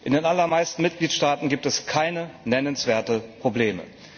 In den allermeisten Mitgliedstaaten gibt es keine nennenswerten Probleme.